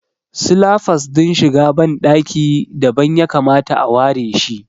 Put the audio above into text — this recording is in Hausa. Silafas din shiga ban ɗaki dabam ya kamata a ware shi